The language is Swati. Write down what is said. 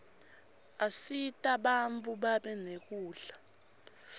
asita bantfu babe nekudla